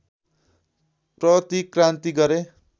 प्रतिक्रान्ति गरे